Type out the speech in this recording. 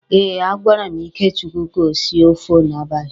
Eh, a gwara m Ikechukwu ka o sie ófé n'abalị.